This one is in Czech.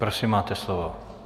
Prosím, máte slovo.